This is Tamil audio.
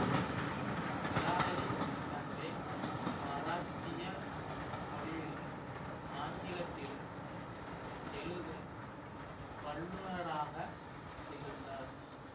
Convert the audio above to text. இராவதி கர்வே மராத்திய மொழியிலும் ஆங்கிலத்திலும் எழுதும் வல்லுனராகத் திகழ்ந்தார்